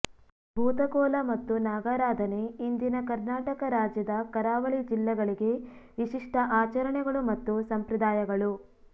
ಭೂತ ಕೋಲ ಮತ್ತು ನಾಗರಾಧನೆ ಇಂದಿನ ಕರ್ನಾಟಕ ರಾಜ್ಯದ ಕರಾವಳಿ ಜಿಲ್ಲೆಗಳಿಗೆ ವಿಶಿಷ್ಟ ಆಚರಣೆಗಳು ಮತ್ತು ಸಂಪ್ರದಾಯಗಳು